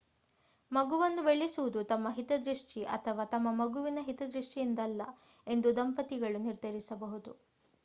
ಮಗುವನ್ನು ಬೆಳೆಸುವುದು ತಮ್ಮ ಹಿತದೃಷ್ಟಿ ಅಥವಾ ತಮ್ಮ ಮಗುವಿನ ಹಿತದೃಷ್ಟಿಯಿಂದಲ್ಲ ಎಂದು ದಂಪತಿಗಳು ನಿರ್ಧರಿಸಬಹುದು